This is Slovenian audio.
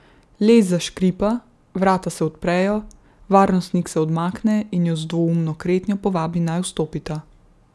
Les zaškripa, vrata se odprejo, varnostnik se odmakne in ju z dvoumno kretnjo povabi, naj vstopita.